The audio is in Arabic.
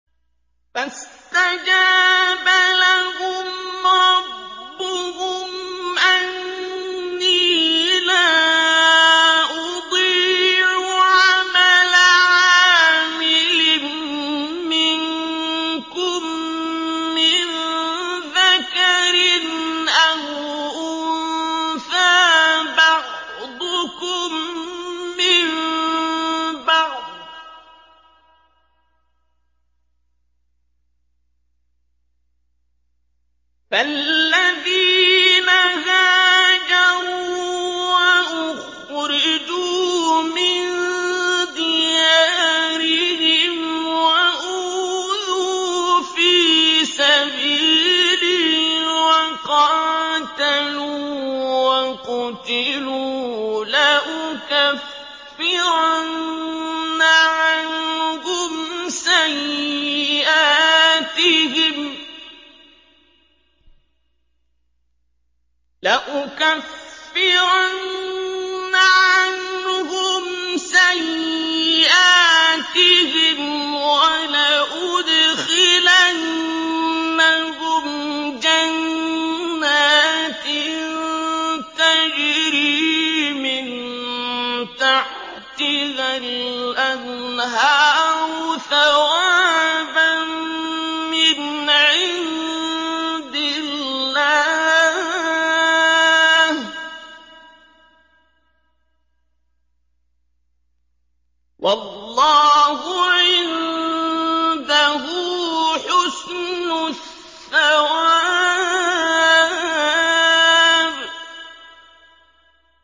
فَاسْتَجَابَ لَهُمْ رَبُّهُمْ أَنِّي لَا أُضِيعُ عَمَلَ عَامِلٍ مِّنكُم مِّن ذَكَرٍ أَوْ أُنثَىٰ ۖ بَعْضُكُم مِّن بَعْضٍ ۖ فَالَّذِينَ هَاجَرُوا وَأُخْرِجُوا مِن دِيَارِهِمْ وَأُوذُوا فِي سَبِيلِي وَقَاتَلُوا وَقُتِلُوا لَأُكَفِّرَنَّ عَنْهُمْ سَيِّئَاتِهِمْ وَلَأُدْخِلَنَّهُمْ جَنَّاتٍ تَجْرِي مِن تَحْتِهَا الْأَنْهَارُ ثَوَابًا مِّنْ عِندِ اللَّهِ ۗ وَاللَّهُ عِندَهُ حُسْنُ الثَّوَابِ